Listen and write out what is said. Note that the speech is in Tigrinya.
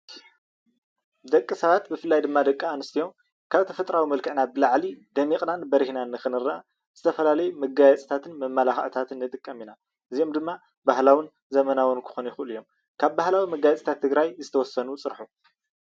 ደቂ ሰባት ብፍላይ ድማ ደቂ ኣንስትዮ ካብ ተፈጥራዊ መልክዕና ብላዕሊ ደሚቕናን በሪሂንን ንኽንረአ ዝተፈላለየ መጋየፂታትን መመላኽዕታትን ንጥቀም ኢና። እዚኦም ድማ ባህላዊን ዘመናውን ክኾን ይኽእሉ እዮም። ካብ ባህላዊ መጋየፂታት ትግራይ ዝተወሰኑ ፅርሑ።